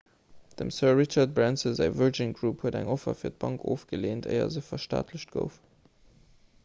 dem sir richard branson säi virgin group huet eng offer fir d'bank ofgeleent éier se verstaatlecht gouf